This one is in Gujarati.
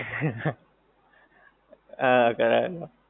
હા કરાવેલો